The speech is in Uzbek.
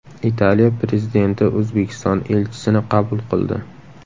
Italiya prezidenti O‘zbekiston elchisini qabul qildi.